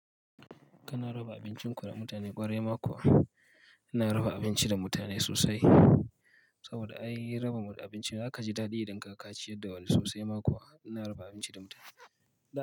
Kana raba abincin ku da mutane kwarai ma ko ina raba abinci da mutane sosai saboda ai raba ma mutane abinci za ka ji daɗi idan ka kaci yadda wani sosai. Mako ina raba abinci da mutane.